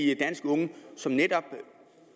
de danske unge som netop